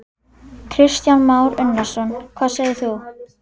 Kristján Már Unnarsson: Hvað segir þú?